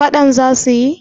fadan za su yi